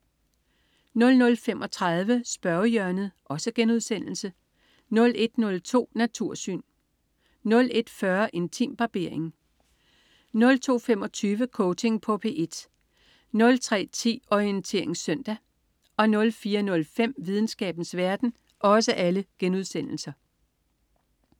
00.35 Spørgehjørnet* 01.02 Natursyn* 01.40 Intimbarbering* 02.25 Coaching på P1* 03.10 Orientering søndag* 04.05 Videnskabens verden*